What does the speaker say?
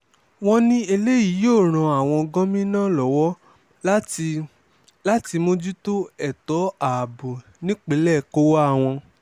wọ́n ní eléyìí yóò ran àwọn gómìnà lọ́wọ́ láti láti mójútó ètò ààbò nípínlẹ̀ kóówá wọn